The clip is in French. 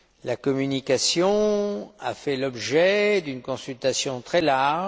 La communication a fait l'objet d'une consultation très large.